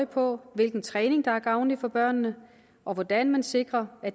på hvilken træning der er gavnlig for børnene og hvordan man sikrer at